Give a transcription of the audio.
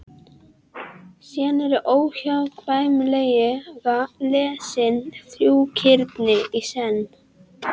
Síðan eru óhjákvæmilega lesin þrjú kirni í senn.